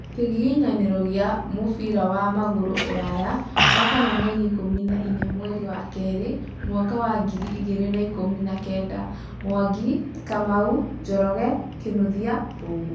Kĩgiginyanĩro gia mũbira wa magũrũ ũlaya Wakana mweri ikũmi na inya mweri wa kerĩ mwaka wa ngiri igĩrĩ na ikũmi na kenda: Mwangi, Kamau, Njoroge, Kinuthia, Mbugua